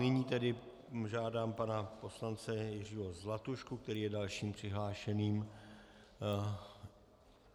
Nyní tedy žádám pana poslance Jiřího Zlatušku, který je dalším přihlášeným.